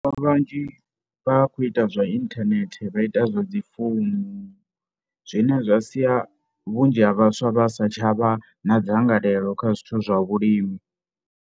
Vhathu vhanzhi vha khou ita zwa inthanethe, vha ita zwa dzi founu zwine zwa sia vhunzhi ha vhaswa vha sa tsha vha na dzangalelo kha zwithu zwa vhulimi.